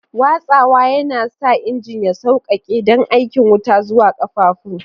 Watsawa yana sa injin ya sauƙaƙe don aika wuta zuwa ƙafafun.